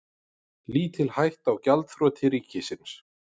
Lítil hætta á gjaldþroti ríkisins